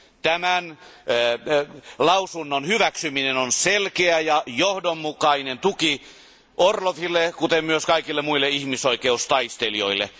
Tämän lausunnon hyväksyminen on selkeä ja johdonmukainen tuki Orloville, kuten myös kaikille muille ihmisoikeustaistelijoille.